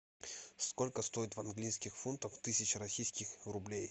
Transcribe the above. сколько стоит в английских фунтах тысяча российских рублей